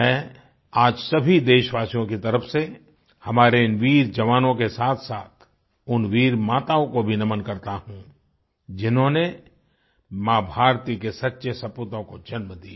मैं आज सभी देशवासियों की तरफ से हमारे इन वीर जवानों के साथसाथ उन वीर माताओं को भी नमन करता हूँ जिन्होंने माँभारती के सच्चे सपूतों को जन्म दिया